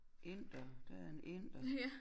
Inder der en inder